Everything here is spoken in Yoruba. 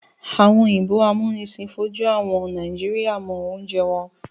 Àwọn òyìnbó amúnisìn fojú àwọn Nàìjíríà mọ oúnjẹ wọn.